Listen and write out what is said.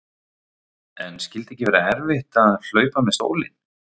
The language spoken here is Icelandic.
En skyldi ekki vera erfitt að hlaupa með stólinn?